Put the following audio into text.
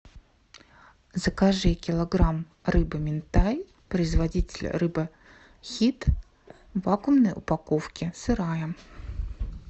закажи килограмм рыбы минтай производитель рыба хит в вакуумной упаковке сырая